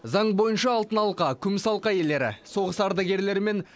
заң бойынша алтын алқа күміс алқа иелері соғыс ардагерлері мен